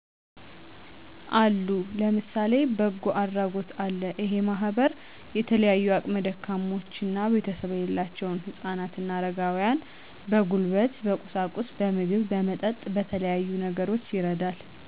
አሉ ለምሳሌ በጎ አድራጎት አለ እሄ ማህበር የተለያዩ አቅም ደካሞችና ቤተሰብ የሌላቸውን ህጻናት አረጋውያን በጉልበት በቁሳቁስ በምግብ በመጠጥ በተለያዩ ነገሮች ይረዳል